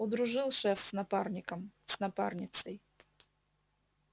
удружил шеф с напарником с напарницей